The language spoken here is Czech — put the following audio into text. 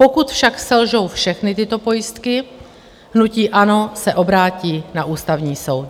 Pokud však selžou všechny tyto pojistky, hnutí ANO se obrátí na Ústavní soud.